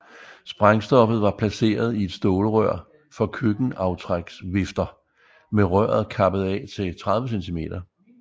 Sprængstoffet var placeret i et stålrør for køkkenaftræksvifter med røret kappet af til 30 cm